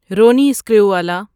Ronnie Screwvala